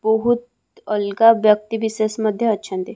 ବହୁତ ଅଲଗା ବ୍ୟକ୍ତି ବିଶେଷ ମଧ୍ୟ ଅଛନ୍ତି ।